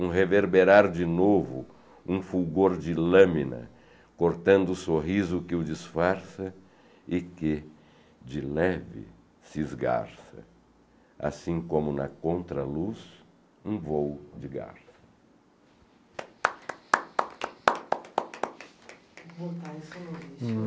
um reverberar de novo, um fulgor de lâmina, cortando o sorriso que o disfarça e que, de leve, se esgarça, assim como, na contraluz, um voo de garça.